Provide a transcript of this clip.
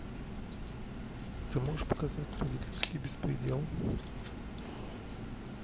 ты можешь показать родительский беспредел